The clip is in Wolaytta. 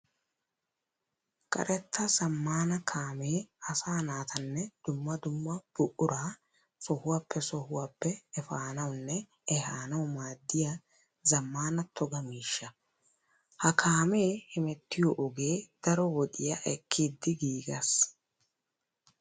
Karetta zamaana kaame asaa naatanne dumma dumma buqura sohuwaappe sohuwappe efanawunne ehaanawu maadiya zamaana toga miishsha. Ha kaame hemettiyo ogee daro wodiya ekkiddi giigees.